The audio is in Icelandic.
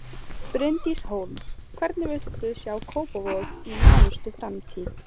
Bryndís Hólm: Hvernig viltu sjá Kópavog í nánustu framtíð?